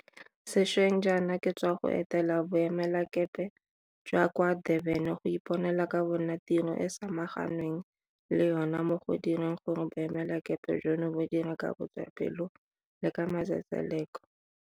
Sešweng jaana ke sa tswa go etela Bo emelakepe jwa kwa Durban go iponela ka bo nna tiro e go samaganweng le yona mo go direng gore boemelakepe jono bo dire ka botswapelo le ka matsetseleko.